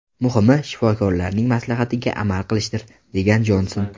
Muhimi, shifokorlarning maslahatiga amal qilishdir”, degan Jonson.